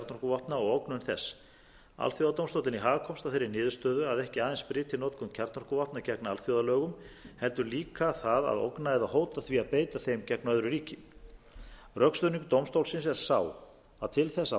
og ógnun þess alþjóðadómstóllinn í haag komst að þeirri niðurstöðu að ekki aðeins bryti notkun kjarnorkuvopna gegn alþjóðalögum heldur líka það að ógna eða hóta því að beita þeim gegn öðru ríki rökstuðningur dómstólsins er sá að til þess að